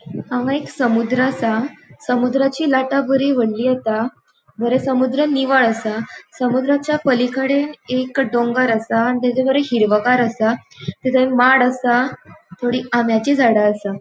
हांगा एक समुद्र असा समुद्राची लाटा बरी वोडली येता बरे समुद्र निवळ असा समुद्रचा पलीकडे एक डोंगोर असा आणि ताचे कडे हिरवगार असा थंय माड असा थोडी आंब्याची झाड़ा असा.